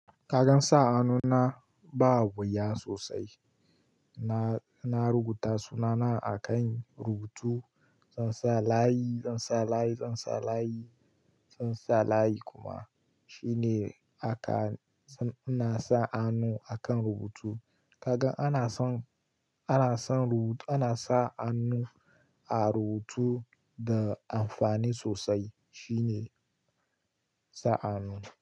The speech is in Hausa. Kagan sa hanu na ba wuya sosai. Na, na rubuta sunana a kan rubutu, zan sa layi, zan sa layi, zan sa layi, zan sa layi kuma shine haka. Dan ina sa hannu akan rubutu. Kaga ana son, ana son rubutu, ana sa hannu a rubutu da amfani sosai. Shi ne sa hannu.